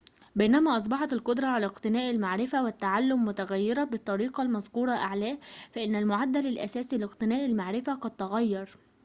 بينما أصبحت القدرة على اقتناء المعرفة والتعلم متغيرة بالطريقة المذكورة أعلاه فإن المعدل الأساسي لاقتناء المعرفة قد تغير